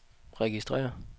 registrér